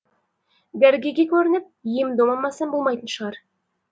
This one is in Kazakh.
дәрігерге көрініп ем дом алмасам болмайтын шығар